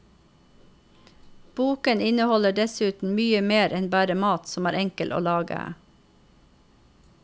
Boken inneholder dessuten mye mer enn bare mat som er enkel å lage.